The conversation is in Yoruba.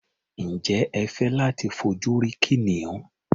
Ǹjẹ́ ẹ fẹ́ láti fojú rí kìnìún?